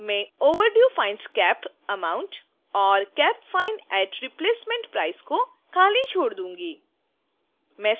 मैं overdue fines cap amount: और cap fine at replacement price: को खाली छोड़ दूंगी